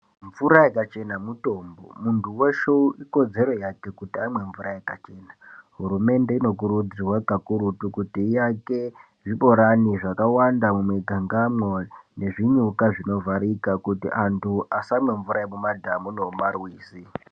Mvura yakachena mutombo muntu veshe ikodzero yake kuti amwe mvura yakachena. Hurumende inokurudzirwa kakurutu kuti yake zvibhorani zvakawanda mumigangamo nezvinyuka zvinovharika. Kuti antu asamwe mvura yemumadhamu nemumarwizi.